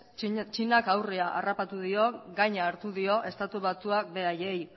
txinak aurre harrapatu dio gaina hartu dio estatu batuak beraiei